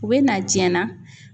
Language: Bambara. U be na diɲɛ na